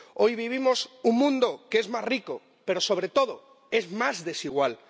Hoy vivimos en un mundo que es más rico, pero sobre todo es más desigual.